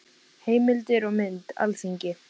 Heimildir og mynd: Alþingi.